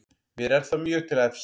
Mér er það mjög til efs